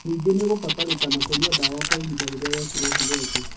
Ningĩ nĩũgũbatarĩkana kũnyua ndawa kwa ihinda rĩrĩa wekĩrwo higo ĩngĩ